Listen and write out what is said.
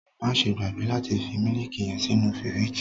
Maṣe gbagbe lati fi miliki yẹn sínú firiji!